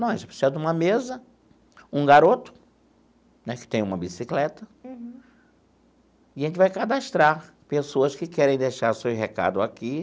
Não, a gente vai precisar de uma mesa, um garoto né, que tem uma bicicleta, e a gente vai cadastrar pessoas que querem deixar seus recado aqui.